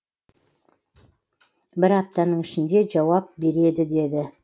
бір аптаның ішінде жауап береді деді